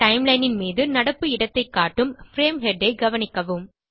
timelineன் மீது நடப்பு இடத்தைக் காட்டும் பிரேம் ஹெட் ஐ கவனிக்கவும்